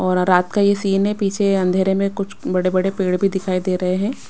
और रात का ये सीन है पीछे अंधेरे में कुछ बड़े-बड़े पेड़ भी दिखाई दे रहे हैं।